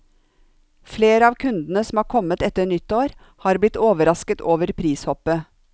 Flere av kundene som har kommet etter nyttår, har blitt overrasket over prishoppet.